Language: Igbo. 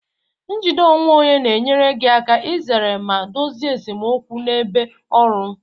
Njide onwe onye na-enyere gị aka izere ma dozie esemokwu n'ebe ọrụ